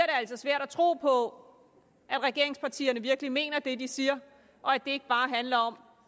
altså svært at tro på at regeringspartierne virkelig mener det de siger og at det ikke bare handler om